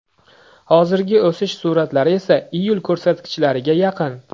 Hozirgi o‘sish sur’atlari esa iyul ko‘rsatkichlariga yaqin.